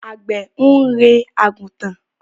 Àgbẹ̀ ń rẹ́ àgùntàn.